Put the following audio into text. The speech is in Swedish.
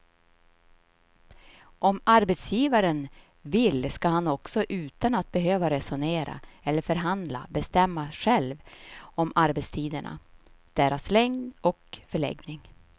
Om arbetsgivaren vill ska han också utan att behöva resonera eller förhandla bestämma själv om arbetstiderna, deras längd och förläggning.